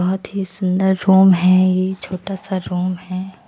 बहुत ही सुंदर रूम है ये छोटा सा रूम है।